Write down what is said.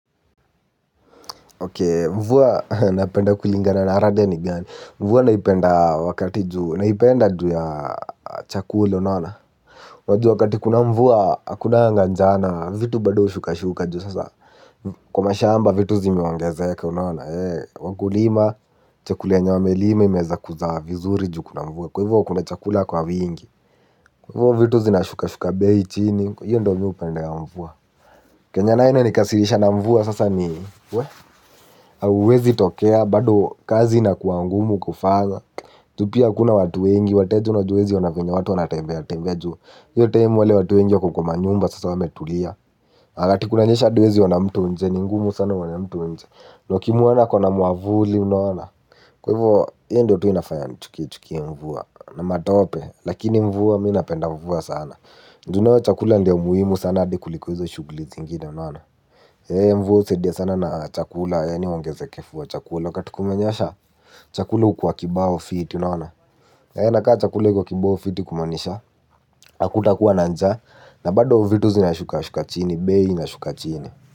Mvua napenda kulingana na rada ni gani. Mvua naipenda wakati juu naipenda juu ya chakula unaona. Wajua wakati kuna mvua akunanga njaa na vitu bado ushuka shuka juu sasa kwa mashamba vitu zimeongezeka unaona. Wakulima chakula yenye wamelima imeeza kuzaa vizuri juu kuna mvua kwa hivyo kuna chakula kwa wingi. Kwa hivo vitu zinashuka shuka bei chini hiyo ndo mi upendea mvua. Kenye nayo inanikasirisha na mvua sasa ni uwezi tokea. Bado kazi inakuangumu kufanya juu pia akuna watu wengi. Wateja unajua uwezi ona venye watu wanatembea. Tembea juu hiyo time wale watu wengi wako kwa manyumba sasa wametulia wakati kunanyesha hadi uwezi ona mtu nje. Ni ngumu sana uone mtu nje. Na ukimwona ako na mwavuli unaona. Kwa hivo hiyo ndio tu inafanya chukie chukie mvua. Na matope lakini mvua mi napenda mvua sana ju nayo chakula ndio muhimu sana hadi kuliko hizo shughuli zingine unaona mvua husaidia sana na chakula yaani uongezekefu wa chakula wakati kumenyesha. Chakula hukuwa kibao fiti unaona na kaa chakula iko kibao fiti kumaanisha. Hakutakuwa na njaa na bado vitu zinashuka shuka chini. Bei inashuka chini.